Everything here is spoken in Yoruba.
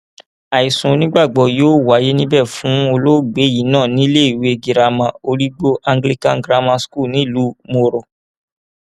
àìsùn onígbàgbọ yóò wáyé níbẹ fún olóògbé yìí náà ní iléèwé girama origbo anglican grammar school nílùú mòro